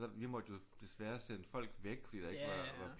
Vi måtte jo desværre sende folk væk fordi der ikke var